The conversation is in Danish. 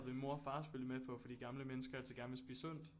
Min mor og far selvfølgelig med på fordi gamle mennesker altid gerne vil spise sundt